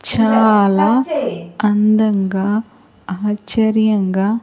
చాలా అందంగా ఆశ్చర్యంగా.